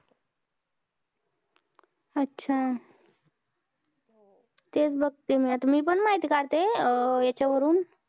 अच्छा! तेच बघते मी आता मी पण माहिती काढते अं याच्यावरून.